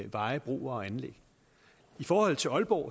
veje broer og anlæg i forhold til aalborg